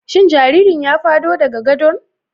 Shin jaririn ya fado daga gadon?